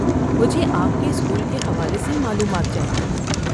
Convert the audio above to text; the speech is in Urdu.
مجھے آپ کے اسکول کے حوالے سے معلومات چاہیے۔